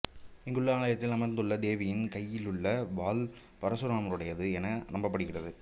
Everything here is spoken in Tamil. இங்குள்ள ஆலயத்தில் அமர்ந்துள்ள தேவியின் கையிலுள்ள வாள் பரசுராமருடையது என நம்பப்படுகிறது